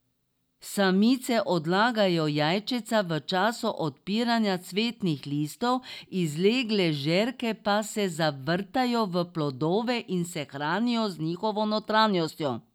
Samice odlagajo jajčeca v času odpiranja cvetnih listov, izlegle žerke pa se zavrtajo v plodove in se hranijo z njihovo notranjostjo.